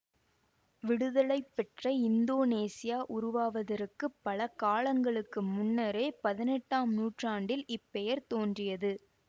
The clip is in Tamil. விடுதலைபெற்ற இந்தோனேசியா உருவாவதற்குப் பல காலங்களுக்கு முன்னரே பதினெட்டாம் நூற்றாண்டில் இப் பெயர் தோன்றியது